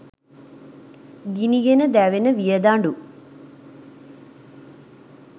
ගිනිගෙන දැවෙන වියදඬු